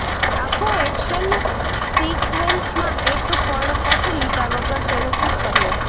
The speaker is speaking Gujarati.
આખો એક્શન સીક્વેન્સમાં એક પણ કટ લીધા વગર તેણે શૂટ કર્યો હતો